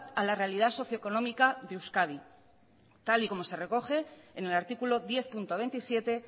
a la realidad socioeconómica de euskadi tal y como se recoge en el artículo diez punto veintisiete